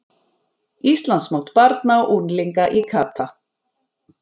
Íslandsmót barna og unglinga í kata